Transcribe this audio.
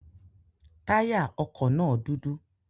Táyà ọkọ na dudu